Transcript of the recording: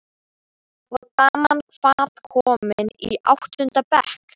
Og daman, hvað- komin í áttunda bekk?